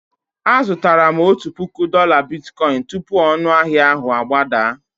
Azụtara m otu puku dola bitkoịn tupu ọnụahịa ahụ agbadaa.